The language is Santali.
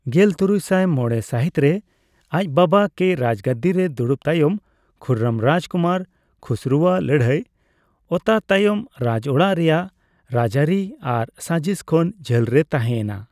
ᱜᱮᱞ ᱛᱩᱨᱩᱭᱥᱟᱭ ᱢᱚᱲᱮ ᱥᱟᱹᱦᱤᱛ ᱨᱮ ᱟᱡ ᱵᱟᱵᱟ ᱠᱮ ᱡᱟᱡᱽᱜᱟᱹᱫᱤ ᱨᱮ ᱫᱩᱲᱩᱵ ᱛᱟᱭᱚᱢ, ᱠᱷᱩᱨᱨᱢ ᱨᱟᱡᱽᱠᱩᱢᱟᱨ ᱠᱷᱩᱥᱨᱚ ᱣᱟᱜ ᱞᱟᱹᱲᱦᱟᱹᱭ ᱚᱛᱟ ᱛᱟᱭᱚᱢ ᱨᱟᱡᱚᱲᱟᱜ ᱨᱮᱭᱟᱜ ᱨᱟᱡᱟᱹᱨᱤ ᱟᱨ ᱥᱟᱹᱡᱤᱥ ᱠᱷᱚᱱ ᱡᱷᱟᱹᱞ ᱨᱮ ᱛᱟᱦᱮᱸ ᱮᱱᱟ᱾